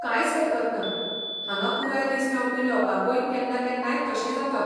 कांयच हरकत ना, हांगा पुराय दीस रावपी लोकांकूय केन्ना केन्नाय तशें जाता.